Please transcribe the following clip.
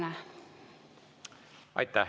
Aitäh!